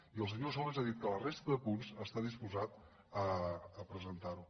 i el senyor solbes ha dit que la resta de punts està disposat a presentar los